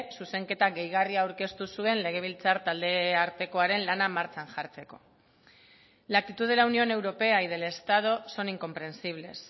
zuzenketa gehigarria aurkeztu zuen legebiltzar taldeartekoaren lana martxan jartzeko la actitud de la unión europea y del estado son incomprensibles